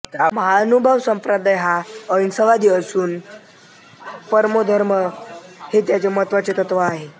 महानुभाव संप्रदाय हा अहिंसावादी असून अहिंसा परमो धर्मः हे त्याचे एक महत्त्वाचे तत्व आहे